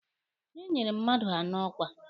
Enyere mmadụ anọ ọkwa